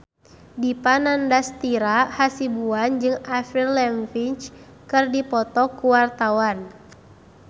Dipa Nandastyra Hasibuan jeung Avril Lavigne keur dipoto ku wartawan